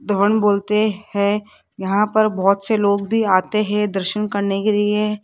धवन बोलते हैं यहां पर बहोत से लोग भी आते हैं दर्शन करने के लिए--